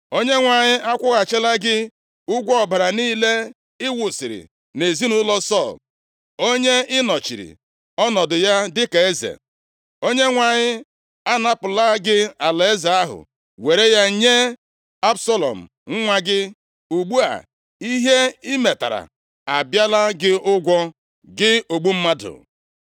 Onyenwe anyị akwụghachila gị ụgwọ ọbara niile ị wụsiri nʼezinaụlọ Sọl, onye ị nọchiri ọnọdụ ya dịka eze. Onyenwe anyị anapụla gị alaeze ahụ, were ya nye Absalọm nwa gị! Ugbu a, ihe i metara abịala gị ụgwọ, gị ogbu mmadụ.”